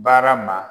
Baara ma